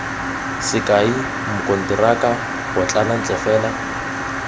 sekai mokonteraka potlana ntle fela